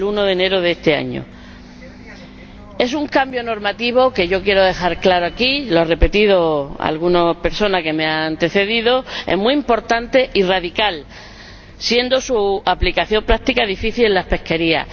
Es un cambio normativo que es ―yo quiero dejarlo claro aquí, lo han repetido algunas personas que me han antecedido― muy importante y radical, siendo su aplicación práctica difícil en las pesquerías.